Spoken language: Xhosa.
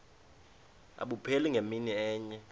abupheli ngemini enye